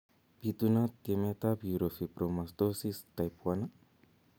Pitunat tyemet ap eurofibromatosis type 1?